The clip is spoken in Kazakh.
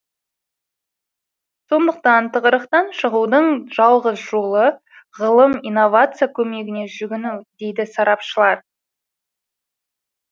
сондықтан тығырықтан шығудың жалғыз жолы ғылым инновация көмегіне жүгіну дейді сарапшылар